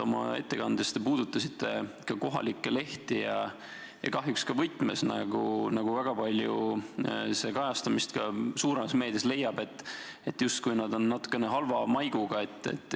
Oma ettekandes te puudutasite kohalikke lehti ja kahjuks ka võtmes, nagu see väga palju leiab kajastamist suuremas meedias, et nad on justkui natukene halva maiguga.